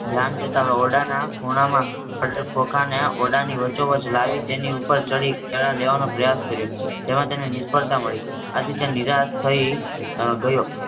ધ્યાન જતાં ઓરડાના ખૂણામાં પડેલ ખોખાને ઓરડાની વચ્ચોવચ લાવી તેની ઉપર ચડી, કેળાં લેવાનો પ્રયાસ કર્યો, જેમાં તેને નિષ્ફળતા મળી. આથી તે નિરાશ થઈ હમ ગયો.